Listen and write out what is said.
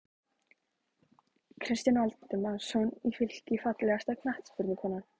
Kristján Valdimarsson í Fylki Fallegasta knattspyrnukonan?